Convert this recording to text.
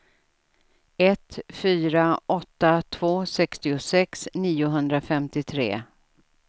ett fyra åtta två sextiosex niohundrafemtiotre